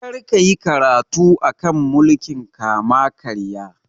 Kar ka yi karatu a kan mulkin kama karya!